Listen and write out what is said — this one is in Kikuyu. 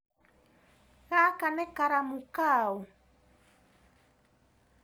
Gaka nĩ karamu kaũ?